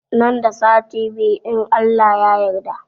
Nan da sati biyu in Allah ya yarda